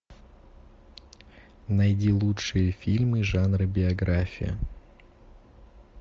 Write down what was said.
найди лучшие фильмы жанра биография